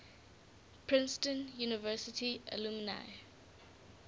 princeton university alumni